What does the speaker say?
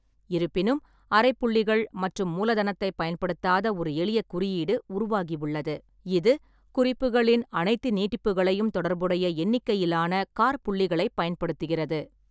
இருப்பினும், அரைப்புள்ளிகள் மற்றும் மூலதனத்தைப் பயன்படுத்தாத ஒரு எளிய குறியீடு உருவாகியுள்ளது, இது குறிப்புகளின் அனைத்து நீட்டிப்புகளையும் தொடர்புடைய எண்ணிக்கையிலான காற்புள்ளிகளைப் பயன்படுத்துகிறது.